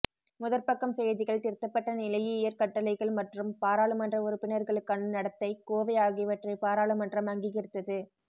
முதற்பக்கம் செய்திகள் திருத்தப்பட்ட நிலையியற் கட்டளைகள் மற்றும் பாராளுமன்ற உறுப்பினர்களுக்கான நடத்தைக் கோவை ஆகியவற்றை பாராளுமன்றம் அங்கீகரித்தது